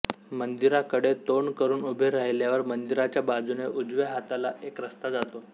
मंदिराकडे तोंड करून उभे राहिल्यावर मंदिराच्या बाजूने उजव्या हाताला एक रस्ता जातो